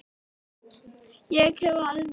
Ég hefði misst af miklu.